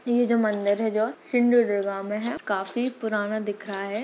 ये जो मंदिर है जो सिंधुदुर्ग मे है काफी पुराना दिख रहा है।